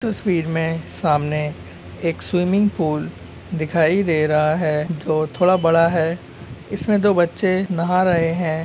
तस्वीर में सामने एक स्विमिंग पूल दिखाई दे रहा है जो थोड़ा बड़ा है इसमें दो बच्चे नहा रहे हैं